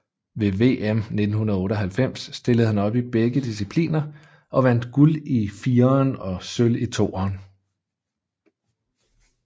Ved VM 1998 stillede han op i begge discipliner og vandt guld i fireren og sølv i toeren